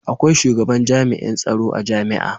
akwai shugaban jami'in tsaro a jami'a